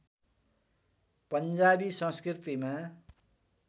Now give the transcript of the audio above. पञ्जाबी संस्कृतिमा